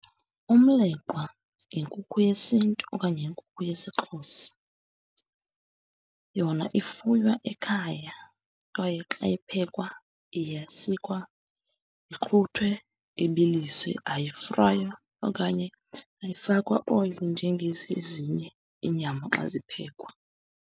Umleqwa yinkukhu yesiNtu okanye yinkukhu yesiXhosa. Yona ifuywa ekhaya, kwaye xa iphekwa iyasikwa, ixhuthwe, ibiliswe, ayifraywa okanye ayifakwa oyile njengezi ezinye iinyama xa ziphekwa.